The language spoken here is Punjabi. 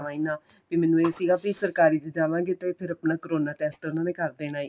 ਜਾਵਾ ਈ ਨਾ ਵੀ ਮੈਨੂੰ ਇਹ ਸੀਗਾ ਵੀ ਸਰਕਾਰੀ ਚ ਜਾਵਾ ਗੇ ਤਾਂ ਫੇਰ ਆਪਣਾ ਕਰੋਨਾ test ਉਨ੍ਹਾਂ ਨੇ ਕਰ ਦੇਣਾ ਏ